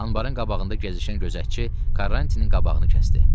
Anbarın qabağında gəzişən gözətçi Karrantinin qabağını kəsdi.